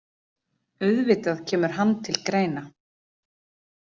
Auðvitað kemur hann til greina.